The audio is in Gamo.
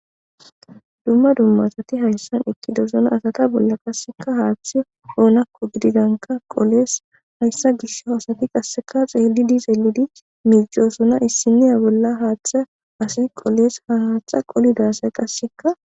dumma dumma asati hayssan ekki dosuna asata bolla qasseka haaththi oonakko gididanka qolees hayssa gish haasati qasseka xeelidi x elidi miicosuna issiniya bolla haaththa asi qoles ha haaththa qolida asay qasseka